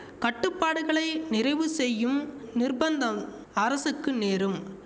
கட்டுப்பாடுகளை நிறைவு செய்யும் நிர்ப்பந்தம் அரசுக்கு நேரும்